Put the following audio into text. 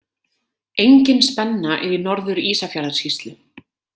Engin spenna er í Norður- Ísafjarðarsýslu.